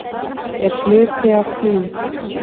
Er hluti af því?